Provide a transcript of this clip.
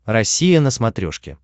россия на смотрешке